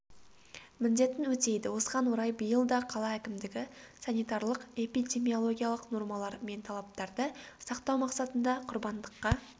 міндетін өтейді осыған орай биыл да қала әкімдігі санитарлық-эпидемиологиялық нормалар мен талаптарды сақтау мақсатында құрбандыққа